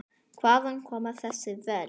Hvaðan koma þessi völd?